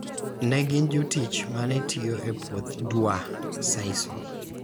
ne gin jotich ma ne tiyo e puoth Dwa Sisal.